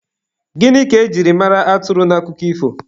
Gịnị ka e jiri mara atụrụ n'akụkọ ifo?